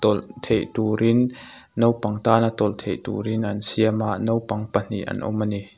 tawlh theih turin naupang tana tawlh theih turin an siam a naupang pahnin an awm a ni.